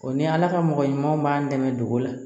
O ni ala ka mɔgɔ ɲuman b'an dɛmɛ dugu la